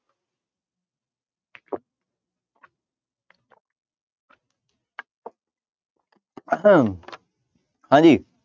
ਹਾਂਜੀ